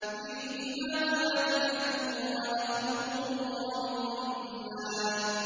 فِيهِمَا فَاكِهَةٌ وَنَخْلٌ وَرُمَّانٌ